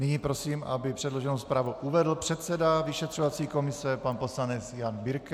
Nyní prosím, aby předloženou zprávu uvedl předseda vyšetřovací komise pan poslanec Jan Birke.